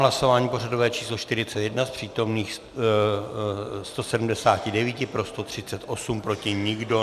Hlasování pořadové číslo 41, z přítomných 179 pro 138, proti nikdo.